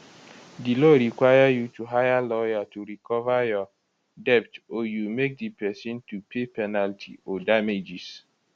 di law require you to hire lawyer to recover your debt or you make di pesin to pay penalty or damages